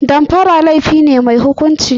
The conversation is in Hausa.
Damfara laifi ne mai hukunci.